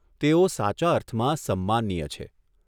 તેઓ સાચા અર્થમાં સન્માનીય છે.